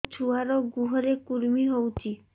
ମୋ ଛୁଆର୍ ଗୁହରେ କୁର୍ମି ହଉଚି